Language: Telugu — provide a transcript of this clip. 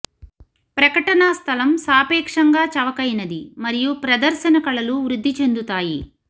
ప్రకటన స్థలం సాపేక్షంగా చవకైనది మరియు ప్రదర్శన కళలు వృద్ధి చెందుతాయి